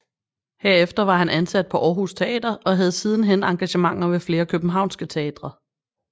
Herefter var han ansat på Aarhus Teater og havde sidenhen engagementer ved flere københavnske teatre